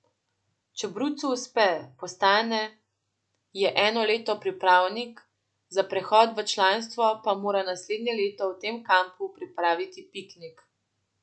Če brucu uspe, postane je eno leto pripravnik, za prehod v članstvo pa mora naslednje leto v tem kampu pripraviti piknik.